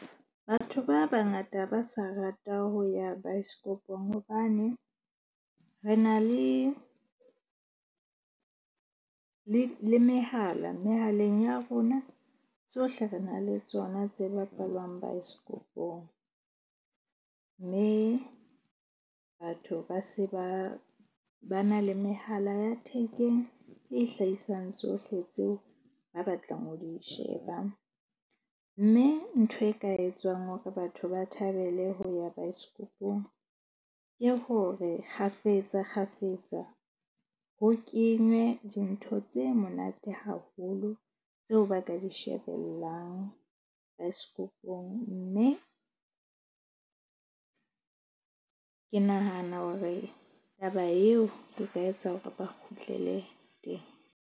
Batho ba bangata ba sa rata ho ya baesekopong. Hobane re na le mehala. Mehaleng ya rona tsohle re na le tsona tse bapalwang baesekopong. Mme batho ba se ba na le mehala ya thekeng e hlahisang tsohle tseo ba batlang ho di sheba. Mme ntho e ka etswang hore batho ba thabele ho ya baesekopong, ke hore kgafetsa kgafetsa ho kenywe dintho tse monate haholo, tseo ba ka di shebellang baesekopong. Mme ke nahana hore taba eo ke ka etsa hore ba kgutlele teng.